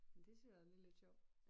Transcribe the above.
Men det synes jeg også det lidt sjovt